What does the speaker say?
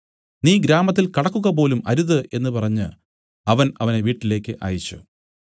നീ ഗ്രാമത്തിൽ കടക്കുകപോലും അരുത് എന്നു പറഞ്ഞ് അവൻ അവനെ വീട്ടിലേക്ക് അയച്ചു